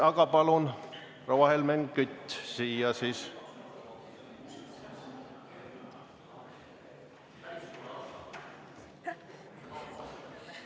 Aga palun, proua Helmen Kütt!